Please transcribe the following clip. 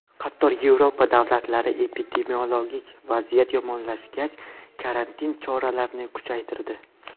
Qator Yevropa davlatlari epidemiologik vaziyat yomonlashgach, karantin choralarini kuchaytirdi .